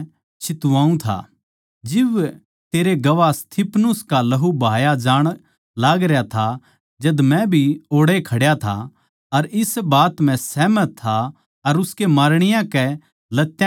जिब तेरे गवाह स्तिफनुस का लहू बहाया जाण लागरया था जद मै भी ओड़ैए खड्या था अर इस बात म्ह सहमत था अर उसकै मारणीयां के लत्यां की रूखाळी करुँ था